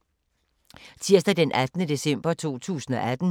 Tirsdag d. 18. december 2018